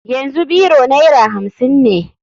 Yanzu biro naira hamsin ne.